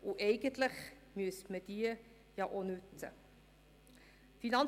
Eigentlich müsste man diese auch nutzen.